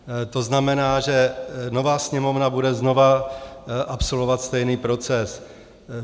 To znamená, že nová Sněmovna bude znova absolvovat stejný proces.